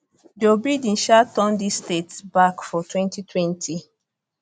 joe biden um turn dis states back for twenty twenty